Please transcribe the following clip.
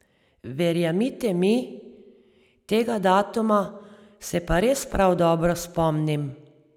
Verjemite mi, tega datuma se pa res prav dobro spomnim.